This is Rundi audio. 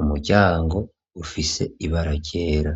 .Umuryango ufise ibara ryera.